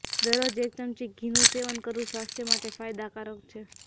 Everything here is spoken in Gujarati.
દરરોજ એક ચમચી ઘીનું સેવન કરવું સ્વાસ્થ્ય માટે ફાયદાકારક છે